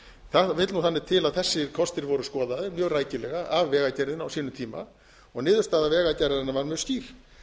það vill nú þannig til að þessir kostir voru skoðaðir mjög rækilega af vegagerðinni á sínum tíma og niðurstaða vegagerðarinnar var mjög skýr